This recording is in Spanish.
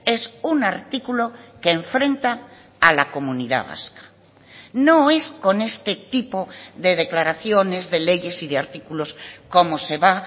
es un artículo que enfrenta a la comunidad vasca no es con este tipo de declaraciones de leyes y de artículos como se va